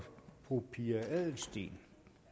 fru pia adelsteen